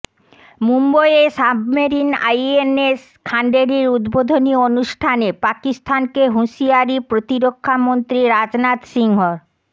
মুম্বইয়ে submarine INS খান্ডেরির উদ্বোধনী অনুষ্ঠানে পাকিস্তানকে হুঁশিয়ারি প্রতিরক্ষামন্ত্রী রাজনাথ সিংহর